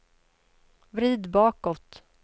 vrid bakåt